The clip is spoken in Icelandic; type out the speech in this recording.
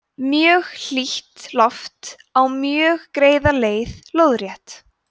mjög hlýtt loft á mjög greiða leið lóðrétt